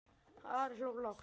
Ari hló lágt.